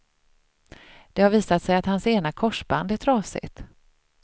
Det har visat sig att hans ena korsband är trasigt.